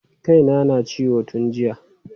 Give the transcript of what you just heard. Kai na na ta ciwo tun jiya.